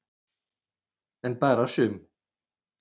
En bara sum.